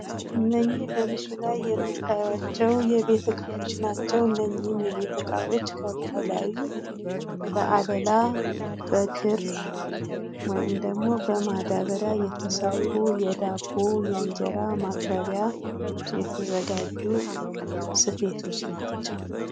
እነኚህ በምስሉ ላይ የምታያቸው የቤት እቃዎች ናቸው። እነኚህም የቤት ዕቃዎች ከባህላዊ በአለላ፣ በክር ወይም ደግሞ በማዳበሪያ የተሰፉ የዳቦ የእንጀራ ማቅረቢያ የተዘጋጁ ስፌቶች ናቸው።